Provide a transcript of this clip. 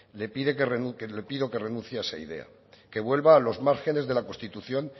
le pido que renuncie a esa idea que vuelva a los márgenes de la constitución